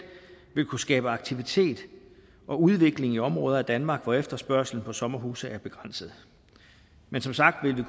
vil kunne skabe aktivitet og udvikling i områder af danmark hvor efterspørgslen på sommerhuse er begrænset men som sagt vil vi